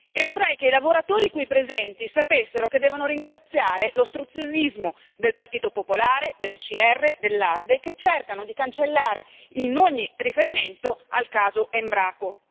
E vorrei che i lavoratori qui presenti sapessero che devono ringraziare l'ostruzionismo del Partito Popolare, dell'ECR, dell'ALDE, che cercano di cancellare ogni riferimento al caso Embraco.